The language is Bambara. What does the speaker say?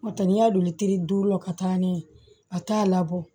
N'o tɛ n'i y'a don teri duuru la ka taa n'a ye a t'a labɔ